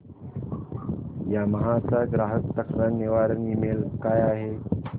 Yamaha चा ग्राहक तक्रार निवारण ईमेल काय आहे